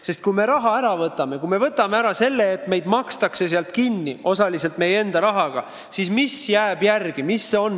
Sest kui me raha ära võtame, kui me võtame ära selle, et meid makstakse sealt kinni osaliselt meie enda rahaga, siis mis jääb järele?